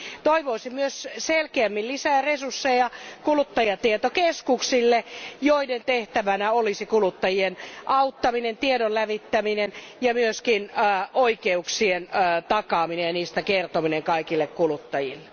Toivoisin myös selkeämmin lisää resursseja kuluttajatietokeskuksille, joiden tehtävänä olisi kuluttajien auttaminen, tiedon levittäminen ja myös oikeuksien takaaminen ja niistä kertominen kaikille kuluttajille.